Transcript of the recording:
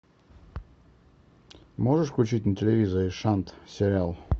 можешь включить на телевизоре шант сериал